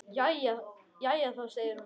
Jæja þá, segir hún.